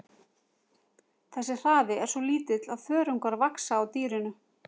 Þessi hraði er svo lítill að þörungar vaxa á dýrinu.